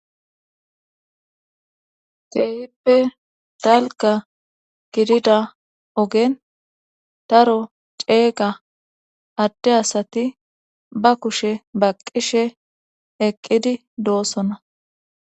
Keehippe dalGa gidida ogen daro ceega adde asati ba kushe baqqishe eqqidi doossona.